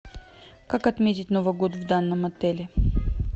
как отметить новый год в данном отеле